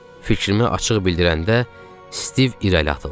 Fikrimi açıq bildirəndə Stiv irəli atıldı.